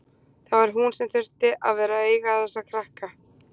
Það var hún sem alltaf þurfti að vera að eiga þessa krakka.